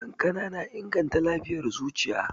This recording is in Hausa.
Kankana na inganta lafiyar zuciya.